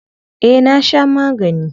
Eh na sha magani.